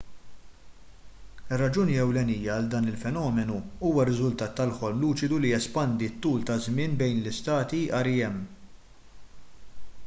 ir-raġuni ewlenija għal dan il-fenomenu huwa r-riżultat tal-ħolm luċidu li jespandi t-tul ta' żmien bejn l-istati rem